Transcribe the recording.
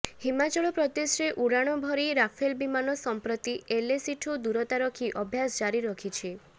ହିମାଚଳ ପ୍ରଦେଶରେ ଉଡାଣ ଭରି ରାଫେଲ ବିମାନ ସଂପ୍ରତି ଏଲଏସିଠୁ ଦୂରତା ରଖି ଅଭ୍ୟାସ୍ ଜାରି ରଖିଛି